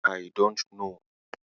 I don't know.